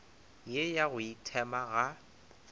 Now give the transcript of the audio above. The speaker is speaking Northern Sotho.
ye ya go ithema ga